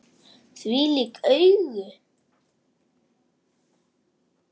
Þvílík augu!